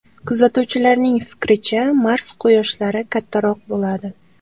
Kuzatuvchilarning fikricha, Mars quyoshlari kattaroq bo‘ladi.